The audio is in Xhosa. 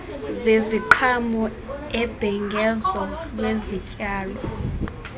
zeziqhamo ubhengezo lwezityalo